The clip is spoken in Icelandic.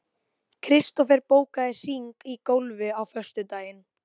Kristofer, bókaðu hring í golf á föstudaginn.